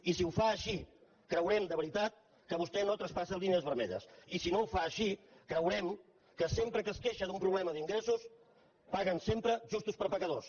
i si ho fa així creurem de ve·ritat que vostè no traspassa línies vermelles i si no ho fa així creurem que sempre que es queixa d’un pro·blema d’ingressos paguen sempre justos per pecadors